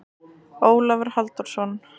Ólafur Halldórsson.